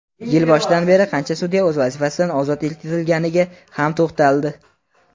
yil boshidan beri qancha sudya o‘z vazifasidan ozod etilganiga ham to‘xtaldi.